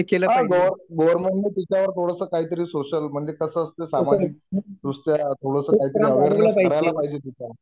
हा government government ने त्याच्यावर थोडंसं काहितरी सोशल म्हणजे कसं असतं सामाजिक दृष्ट्या थोडंसं काहितरी करायला पाहिजे तेच्यावर